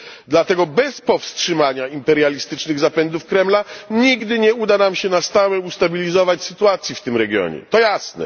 Dlatego bez powstrzymania imperialistycznych zapędów Kremla nigdy nie uda nam się na stałe ustabilizować sytuacji w tym regionie to jasne.